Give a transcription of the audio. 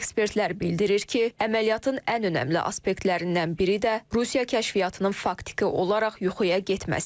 Ekspertlər bildirir ki, əməliyyatın ən önəmli aspektlərindən biri də Rusiya kəşfiyyatının faktiki olaraq yuxuya getməsi idi.